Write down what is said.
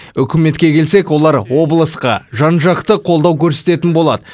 үкіметке келсек олар облысқа жан жақты қолдау көрсететін болады